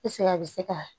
a bɛ se ka